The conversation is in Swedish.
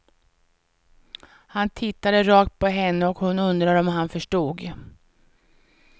Han tittade rakt på henne och hon undrade om han förstod.